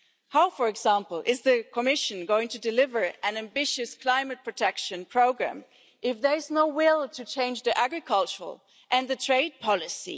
How, for example, is the Commission going to deliver an ambitious climate protection programme if there is no will to change the agricultural and the trade policy?